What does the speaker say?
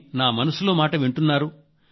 కానీ నా మనసులో మాట వింటున్నారు